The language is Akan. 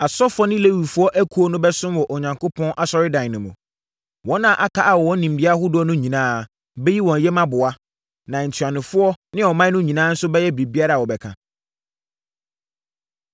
Asɔfoɔ ne Lewifoɔ akuo no bɛsom wɔ Onyankopɔn Asɔredan no mu. Wɔn a aka a wɔwɔ nimdeɛ ahodoɔ no nyinaa bɛyi wɔn yam aboa, na ntuanofoɔ ne ɔman no nyinaa nso bɛyɛ biribiara a wobɛka.”